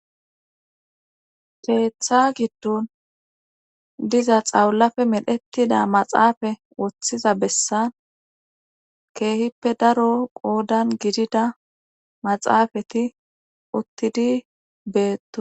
keeththa giddon diza xawulafe medhettida maxaafa woththiza bessan keehippe daro qoodan gidida maxaafati uttidi beettoson